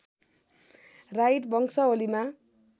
right वंशावलीमा